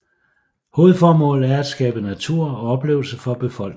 Hovedformålet er at skabe natur og oplevelser for befolkningen